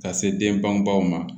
Ka se den banbaw ma